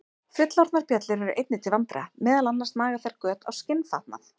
Fullorðnar bjöllur eru einnig til vandræða, meðal annars naga þær göt á skinnfatnað.